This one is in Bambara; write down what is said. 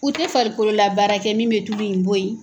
U tɛ farikolo la baara kɛ min bɛ tulu in bɔ yen.